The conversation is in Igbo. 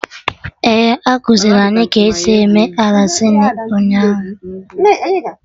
E kuziri anyị ka esi eme Arancini ụnyaahụ